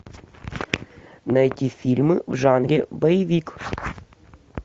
найти фильмы в жанре боевик